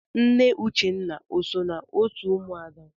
Nne Uchenna o so n'otu ụmụada?